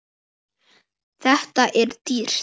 Þetta er dýrt.